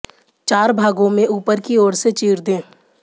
चार भागों में ऊपर की ओर से चीर दें